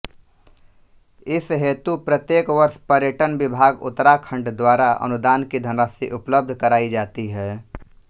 इस हेतु प्रत्येक वर्ष पर्यटन विभाग उत्तराखण्ड द्वारा अनुदान की धनराशि उपलब्ध कराई जाती है